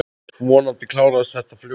Vonandi klárast þetta fljótt.